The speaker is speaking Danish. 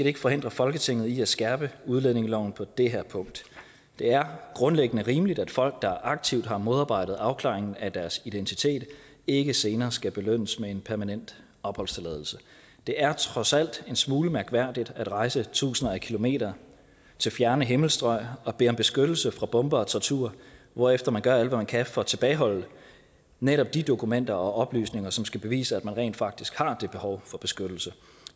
ikke forhindre folketinget i at skærpe udlændingeloven på det her punkt det er grundlæggende rimeligt at folk der aktivt har modarbejdet afklaringen af deres identitet ikke senere skal belønnes med en permanent opholdstilladelse det er trods alt en smule mærkværdigt at rejse tusinder af kilometer til fjerne himmelstrøg og bede om beskyttelse fra bomber og tortur hvorefter man gør alt hvad man kan for at tilbageholde netop de dokumenter og oplysninger som skal bevise at man rent faktisk har det behov for beskyttelse